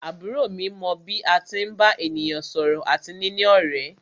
Àbúrò mi mọ bí a tí ń bá ènìyàn sọ̀rọ̀ àti níní ọ̀rẹ́.